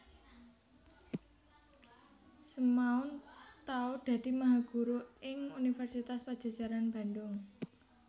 Semaun tau dadi mahaguru ing Universitas Padjajaran Bandhung